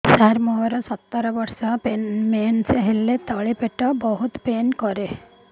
ସାର ମୋର ସତର ବର୍ଷ ମେନ୍ସେସ ହେଲେ ତଳି ପେଟ ବହୁତ ପେନ୍ କରେ